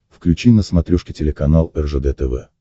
включи на смотрешке телеканал ржд тв